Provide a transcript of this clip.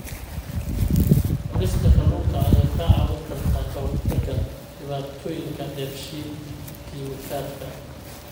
Cunista kalluunka ayaa kaa caawin karta ka hortagga dhibaatooyinka dheef-shiid kiimikaadka.